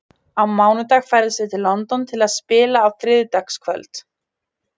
Á mánudag ferðumst við til London til að spila á þriðjudagskvöld.